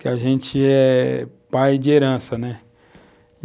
Que a gente é pai de herança, né?